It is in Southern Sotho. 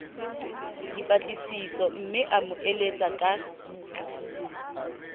dipatlisisomme a mo eletse ka